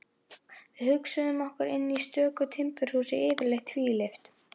Við hugsuðum okkur inn í stöku timburhús, yfirleitt tvílyft.